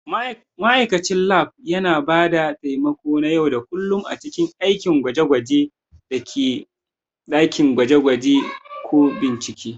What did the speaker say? Ma'aikacin Lab yana ba da taimako na yau da kullun a cikin aikin gwaje-gwajen dakin gwaje-gwaje da/ko bincike.